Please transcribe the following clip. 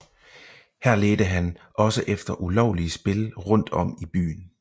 Her ledte han også efter ulovlige spil rundt om i byen